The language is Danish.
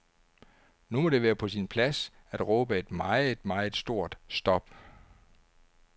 Nu må det være på sin plads at råbe et meget, meget stort stop.